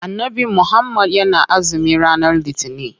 Annabi muhammad yana azumi ranar litinin.